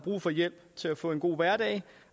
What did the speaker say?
brug for hjælp til at få en god hverdag